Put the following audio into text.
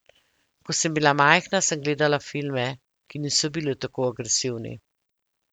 Ko sem bila majhna, sem gledala filme, ki niso bili tako agresivni.